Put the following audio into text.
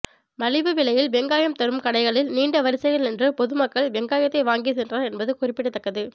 மலிவு விலையில் வெங்காயம் தரும் கடைகளில் நீண்ட வரிசையில் நின்று பொதுமக்கள் வெங்காயத்தை வாங்கி சென்றனர் என்பது குறிப்பிடத்தக்கது